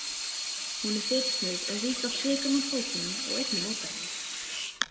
Hún er fitusnauð en rík af sykrum og prótínum og einnig mótefnum.